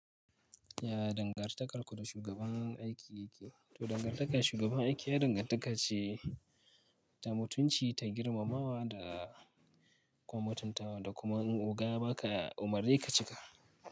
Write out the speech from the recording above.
Ya dangantakar ku da shugaban aiki yake? To dangantaka da shugaban aiki ya dangantaka ce ta mutunci, ta girmamawa da kuma mutuntawa da kuma in oga ya ba ka umarni ka cika.